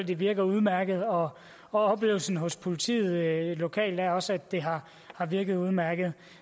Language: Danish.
det virker udmærket og oplevelsen hos politiet lokalt er også at det har virket udmærket